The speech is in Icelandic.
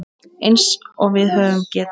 Eins og við höfum getað.